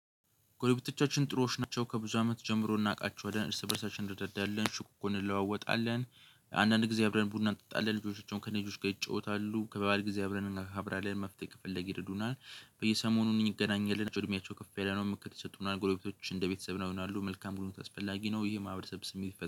ጎረቢቶቻችን ጥሮዎች ናቸው ከብዙ አመት ጀምሮ እናውቃቸዋለን፤ እርስ በእርሳችን እንረዳዳለን ሽኩን እንለዋወጣለን፤። አንዳንድ ጊዜ አብረን ቡና እንጠጣለን ልጆቻቸውን ከልጆች ጋር ይጫወታሉ ከበዓልጊዜ አብረን እናከብራለን። መፍትሄ ከፈለግን ይረዱናል፤ በየሰሞኑ እንገናኛለን፤። እድሜያቸው ከፍ ያለ ነው ምክር ይሰጡናል፤። ጎልቤቶች እንደ ቤተሰብ ነው ይሆናሉ መልካም ጉርብትና አስፈላጊ ነው። ይሄ ማህበረሰብ ስሜት